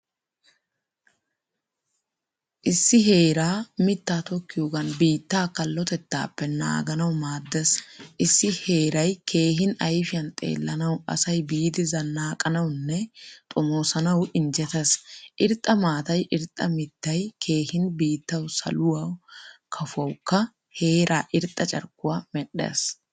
Issi heeraa miittaa tokkiyogan biittaa kallotettappe naaganawu maadees. Issi heeray keehin ayfiyan xeelanawu asay biidi zanaaqanawunne xomoosanawu injjetees. Irxxa maataay irxxa mittay keehin biittawu saluwa kafuwawkko heera irxxa carkkuwaa medhdhees.